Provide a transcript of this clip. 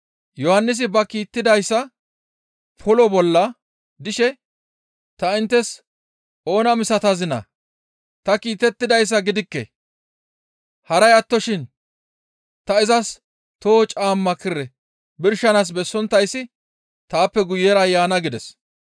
Yohannisi ba kiitettidayssa polo bolla dishe, ‹Ta inttes oona misatazinaa? Ta kiitettidayssa gidikke; haray attoshin ta izas toho caamma kire birshanaas bessonttayssi taappe guyera yaana› gides.